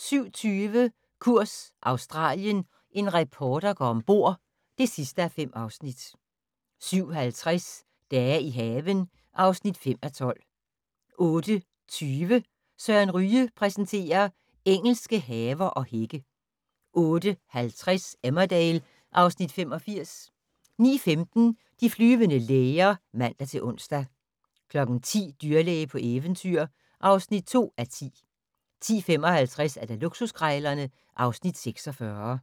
07:20: Kurs Australien - en reporter går om bord (5:5) 07:50: Dage i haven (5:12) 08:20: Søren Ryge præsenterer: Engelske haver og hække 08:50: Emmerdale (Afs. 85) 09:15: De flyvende læger (man-ons) 10:00: Dyrlæge på eventyr (2:10) 10:55: Luksuskrejlerne (Afs. 46)